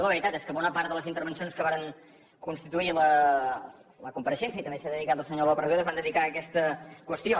la veritat és que bona part de les intervencions que varen constituir la compareixença i també s’hi ha dedicat el senyor lópez rueda es van dedicar a aquesta qüestió